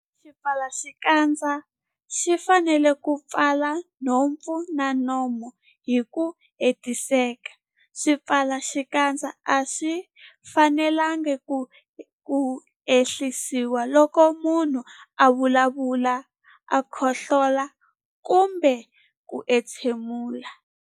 Xipfalaxikandza xi fanele ku pfala nhompfu na nomo hi ku hetiseka. Swipfalaxikandza a swi fanelanga ku ehlisiwa loko munhu a vulavula, khohlola kumbe ku entshemula.